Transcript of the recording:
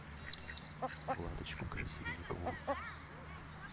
владочку красильникову